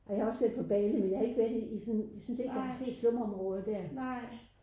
Jeg var selv på Bali men jeg har ikke været i i sådan jeg synes ikke jeg har set slumområder der